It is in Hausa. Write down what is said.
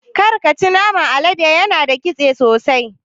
Karka ci naman alade yana da ƙitse sosai.